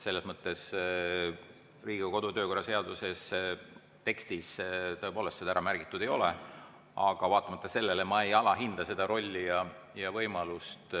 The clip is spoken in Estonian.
Selles mõttes Riigikogu kodu‑ ja töökorra seaduse tekstis tõepoolest seda ära märgitud ei ole, aga vaatamata sellele ma ei alahinda seda rolli ja võimalust.